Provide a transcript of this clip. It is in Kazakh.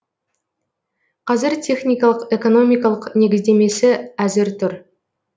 қазір техникалық экономикалық негіздемемесі әзір тұр